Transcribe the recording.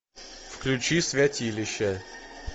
включи святилище